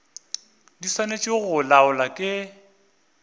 di swanetše go laolwa ke